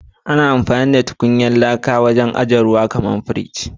A zamanin da ana amfani da tukunyar laka wajen ajiya ruwa, Yana zama kamar a fridge.